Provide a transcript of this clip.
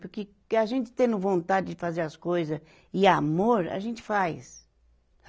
Porque que a gente tendo vontade de fazer as coisa e amor, a gente faz.